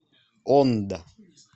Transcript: ондо